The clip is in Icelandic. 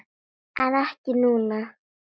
En ekki núna?